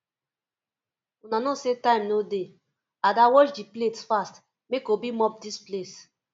una no say time no dey ada wash the plates fast make obi mop dis place